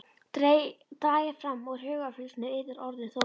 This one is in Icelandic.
Dragið fram úr hugarfylgsnum yðar orðin Þórunnar.